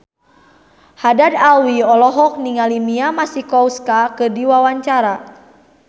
Haddad Alwi olohok ningali Mia Masikowska keur diwawancara